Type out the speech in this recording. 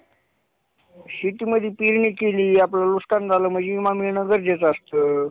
करावा. आपल्या अवती भोवती पाण्याचे विविध स्त्रोत आहेत जसे की, नदी-नाले, तलाव, विहिरी आणि समुद्र. परंतु